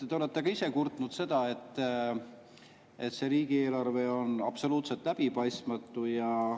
Te olete ka ise kurtnud, et see riigieelarve on absoluutselt läbipaistmatu.